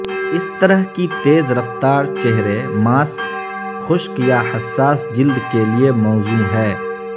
اس طرح کی تیز رفتار چہرے ماسک خشک یا حساس جلد کے لئے موزوں ہے